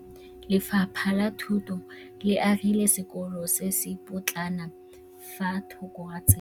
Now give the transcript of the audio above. Lefapha la Thuto le agile sekôlô se se pôtlana fa thoko ga tsela.